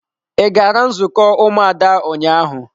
Ị gara nzukọ ụmụada ụnyaahụ?